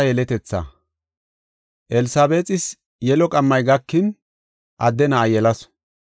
Elsabeexis yelo qammay gakin adde na7a yelasu.